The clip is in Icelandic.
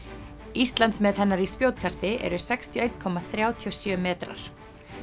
Íslandsmet hennar í spjótkasti eru sextíu og eitt komma þrjátíu og sjö metrar